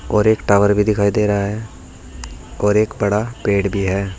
और एक टावर भी दिखाई दे रहा है और एक बड़ा पेड़ भी है।